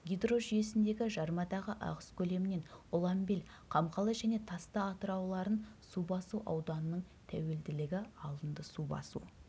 гидрожүйесіндегі жармадағы ағыс көлемінен ұланбел қамқалы және тасты атырауларын су басу ауданының тәуелділігі алынды су басу